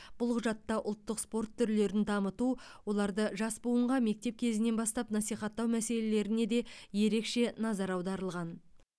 бұл құжатта ұлттық спорт түрлерін дамыту оларды жас буынға мектеп кезінен бастап насихаттау мәселелеріне де ерекше назар аударылған